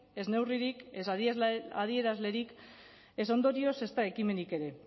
ez neurririk ez adierazlerik ez ondorio ezta ekimenik ere